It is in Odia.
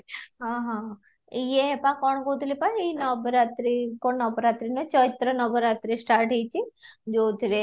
ହଁ ହଁ ହଁ, ୟେ ପା କ'ଣ କହୁଥିଲି ପା ଏଇ ନବରାତ୍ରି କ'ଣ ନବରାତ୍ରି ନୁହେଁ ଚୈତ୍ର ନବରାତ୍ରି start ହେଇଚି ଯାଉଥିରେ